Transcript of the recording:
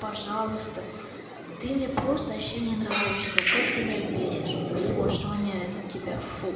пожалуйста ты мне просто вообще не нравишься как ты меня бесишь фу аж воняет от тебя фу